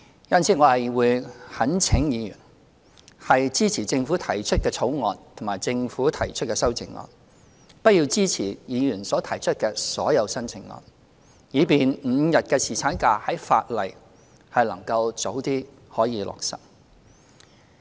因此，我懇請議員支持政府提出的《條例草案》及政府提出的修正案，不要支持議員所提出的所有修正案，以便5天侍產假的法例能早日落實。